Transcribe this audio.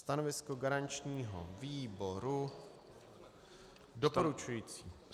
Stanovisko garančního výboru doporučující.